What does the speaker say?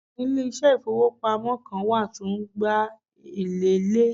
Àwọn ilésé ìfowópamọ́ Kan wà tó n gba elèlé